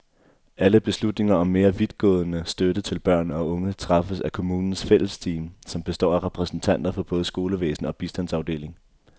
Alle beslutninger om mere vidtgående støtte til børn og unge træffes af kommunens fællesteam, som består af repræsentanter for både skolevæsen og bistandsafdeling.